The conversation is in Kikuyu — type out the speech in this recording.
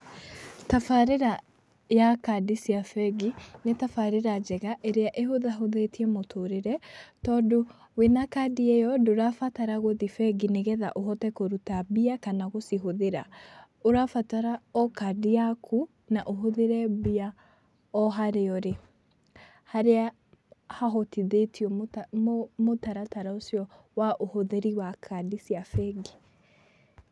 Tabarĩra ya kandi cia bengi nĩ tabarĩra njega ĩrĩa ĩhũthahũthĩtie mũtũrĩre, tondũ wĩna kandĩ ĩyo ndũrabatara gũthiĩ bengi nĩgetha ũhote kũruta mbia kana gũcihũthĩra, ũrabatara o kandi yaku na ũhũthĩre mbia o harĩa ũri, harĩa hahotithĩtio mũtaratara ũcio wa uhũthĩri wa kandi cia bengi.